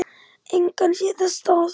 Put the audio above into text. Engan sé ég þess stað.